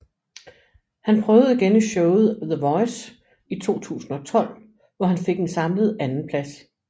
Han prøvede igen i showet The Voice i 2012 hvor han fik en samlet andenplads